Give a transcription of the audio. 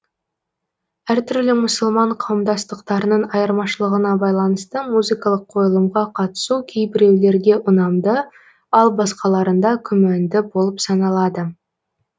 әр түрлі мұсылман қауымдастықтарының айырмашылығына байланысты музыкалық қойылымға қатысу кейбіреулерге ұнамды ал басқаларында күмәнді болып саналады